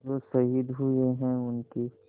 जो शहीद हुए हैं उनकी